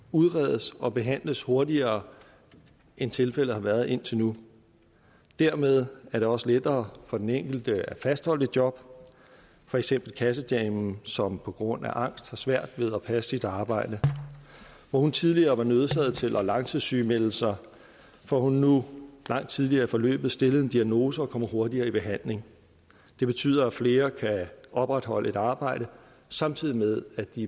udredes og behandles hurtigere end tilfældet har været indtil nu dermed er det også lettere for den enkelte at fastholde et job for eksempel kassedamen som på grund af angst har svært ved at passe sit arbejde hvor hun tidligere var nødsaget til at langtidssygemelde sig får hun nu langt tidligere i forløbet stillet en diagnose og kommer hurtigere i behandling det betyder at flere kan opretholde et arbejde samtidig med at de